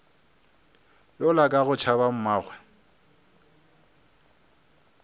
yola ka go tšhaba mmagwe